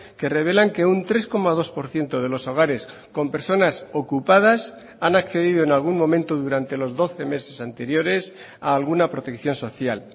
que revelan que un tres coma dos por ciento de los hogares con personas ocupadas han accedido en algún momento durante los doce meses anteriores a alguna protección social